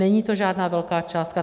Není to žádná velká částka.